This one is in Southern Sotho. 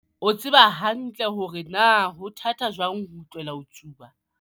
O tseba hantle hore na ho thata jwang ho tlohela ho tsuba.